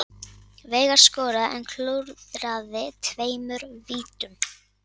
Veigar skoraði en klúðraði tveimur vítum